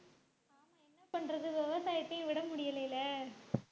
என்ன பண்றது விவசாயத்தையும் விட முடியலை இல்லை